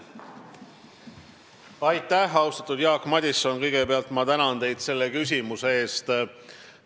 Austatud Jaak Madison, kõigepealt ma tänan teid selle küsimuse eest!